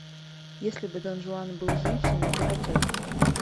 если бы дон жуан был женщиной закачай